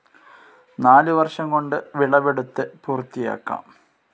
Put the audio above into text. നാലുവർഷം കൊണ്ട് വിളവെടുത്ത് പൂർത്തിയാക്കാം.